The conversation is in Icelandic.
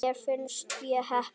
Mér finnst ég heppin.